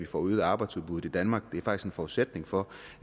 får øget arbejdsudbuddet i danmark faktisk forudsætning for